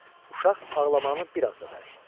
Uşaq ağlamağını bir az da bərkitdi.